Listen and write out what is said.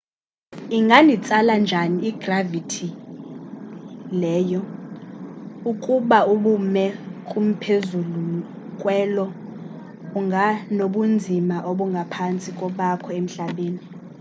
inganditsala njani igravithi ye lo ukuba ubume kumphezulu kwe-io unganobunzima obungaphantsi kobakho emhlabeni